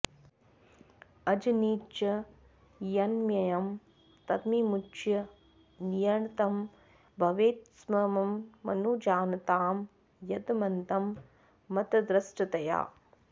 अजनि च यन्मयं तद्विमुच्य नियन्तृ भवेत्सममनुजानतां यदमतं मतदृष्टतया